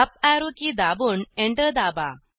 up arrow की दाबून enter दाबा